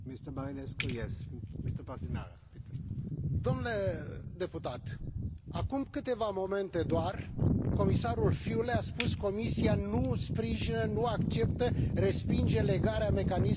Dle deputat, acum câteva momente doar, comisarul Füle a spus Comisa nu sprijină, nu acceptă, respinge legarea mecanismului de aderare la Schengen de MCV.